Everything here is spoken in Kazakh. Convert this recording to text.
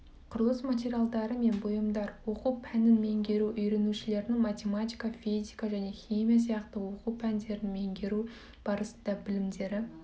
құрылыс материалдары мен бұйымдар оқу пәнін меңгеру үйренушілердің математика физика және химия сияқты оқу пәндерін меңгеру барысында білімдері